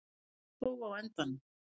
Ég vann þó á endanum.